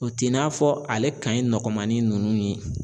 O t'i n'a fɔ ale ka ɲi ni nɔgɔnmanin nunnu ye.